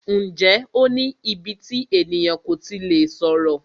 Ǹjẹ́ o ní íbí tí ènìyàn kò tí lè sọ̀rọ̀?